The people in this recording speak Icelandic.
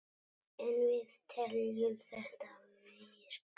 En við teljum þetta virka.